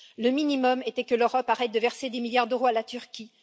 Le minimum était que l'Europe arrête de verser des milliards d'euros à la Turquie.